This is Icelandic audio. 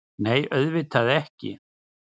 Nei, auðvitað ekki!